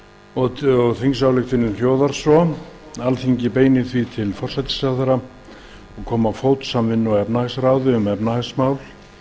og höskuldur þórhallsson þingsályktunin hljóðar svo alþingi beinir því til forsætisráðherra að koma á fót samvinnu og efnahagsráði um efnahagsmál